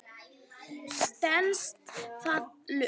Stenst það lög?